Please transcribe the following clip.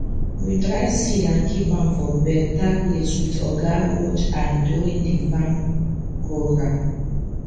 we dry seed and keep am for better place with oga watch eye during the farm program